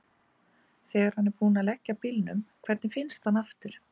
Þegar hann er búinn að leggja bílnum, hvernig finnst hann aftur?